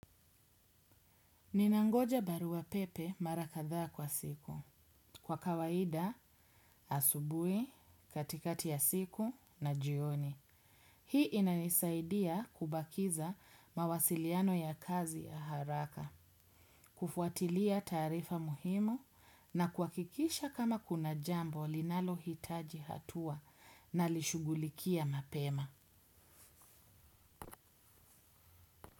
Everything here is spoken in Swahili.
Ninangoja barua pepe mara kadhaa kwa siku. Kwa kawaida asubuhi, katikati ya siku na jioni. Hii inaisaidia kubakiza mawasiliano ya kazi ya haraka, kufuatilia taarifa muhimu na kuhakikisha kama kuna jambo linalohitaji hatua nalishughulikia mapema.